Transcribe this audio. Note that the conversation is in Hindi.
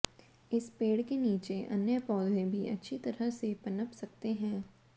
इस पेड़ के नीचे अन्य पौधे भी अच्छी तरह से पनप सकते है